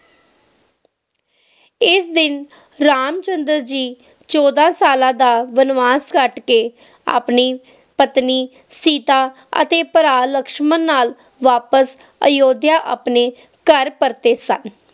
ਇਸ ਦਿਨ ਰਾਮਚੰਨਦਰ ਜੀ ਚੌਦਾਂ ਸਾਲਾਂ ਦਾ ਵਣਵਾਸ ਕੱਟ ਕੇ ਆਪਣੀ ਪਤਨੀ ਸੀਤਾ ਅਤੇ ਭਰਾ ਲਕਸ਼ਮਣ ਨਾਲ ਵਾਪਸ ਅਯੋਧਿਆ ਆਪਣੇ ਘਰ ਪਰਤੇ ਸਨ